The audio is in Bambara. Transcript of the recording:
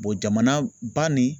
jamana ba nin